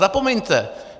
Zapomeňte!